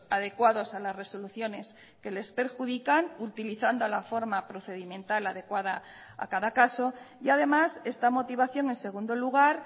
adecuados a las resoluciones que les perjudican utilizando la forma procedimental adecuada a cada caso y además esta motivación en segundo lugar